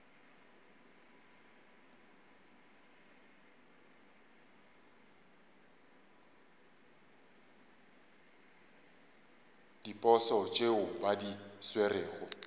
diposo tšeo ba di swerego